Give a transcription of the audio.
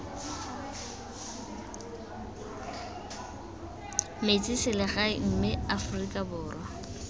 metse selegae mme afrika borwa